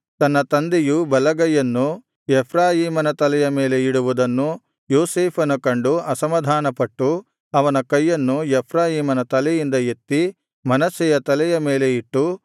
ತನ್ನ ತಂದೆಯು ಬಲಗೈಯನ್ನು ಎಫ್ರಾಯೀಮನ ತಲೆಯ ಮೇಲೆ ಇಡುವುದನ್ನು ಯೋಸೇಫನು ಕಂಡು ಅಸಮಾಧಾನಪಟ್ಟು ಅವನ ಕೈಯನ್ನು ಎಫ್ರಾಯೀಮನ ತಲೆಯಿಂದ ಎತ್ತಿ ಮನಸ್ಸೆಯ ತಲೆಯ ಮೇಲೆ ಇಟ್ಟು